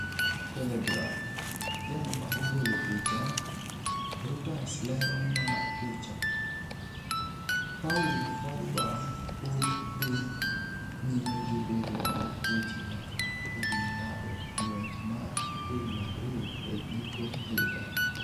(Telegraph) Jal ma ogolo picha, Reuters Lero mar picha, Paul Pogba pod dhi nyime gi bedo gi weche mathoth e wi ng’ado ng’wech mar Real Madrid e giko higa.